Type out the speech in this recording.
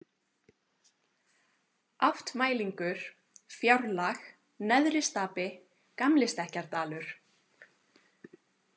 Áttmælingur, Fjárlag, Neðristapi, Gamlistekkjardalur